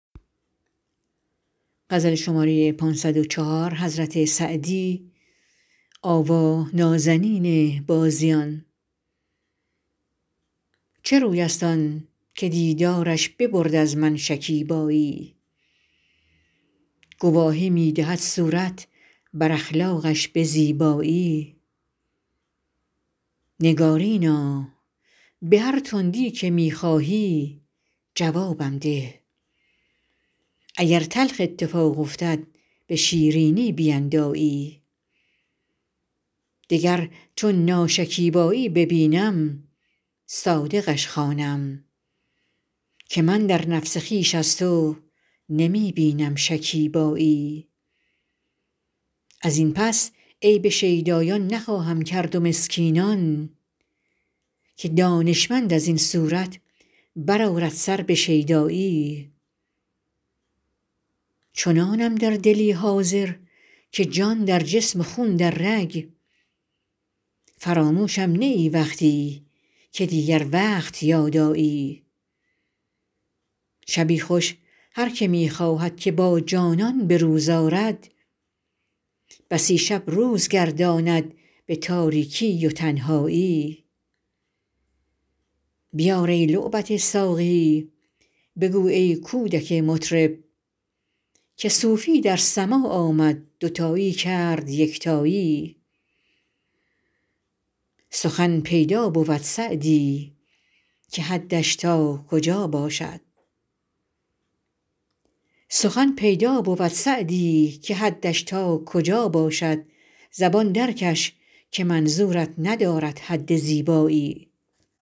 چه روی است آن که دیدارش ببرد از من شکیبایی گواهی می دهد صورت بر اخلاقش به زیبایی نگارینا به هر تندی که می خواهی جوابم ده اگر تلخ اتفاق افتد به شیرینی بیندایی دگر چون ناشکیبایی ببینم صادقش خوانم که من در نفس خویش از تو نمی بینم شکیبایی از این پس عیب شیدایان نخواهم کرد و مسکینان که دانشمند از این صورت بر آرد سر به شیدایی چنانم در دلی حاضر که جان در جسم و خون در رگ فراموشم نه ای وقتی که دیگر وقت یاد آیی شبی خوش هر که می خواهد که با جانان به روز آرد بسی شب روز گرداند به تاریکی و تنهایی بیار ای لعبت ساقی بگو ای کودک مطرب که صوفی در سماع آمد دوتایی کرد یکتایی سخن پیدا بود سعدی که حدش تا کجا باشد زبان درکش که منظورت ندارد حد زیبایی